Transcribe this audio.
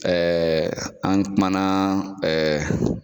Ɛɛ an kumana ɛɛ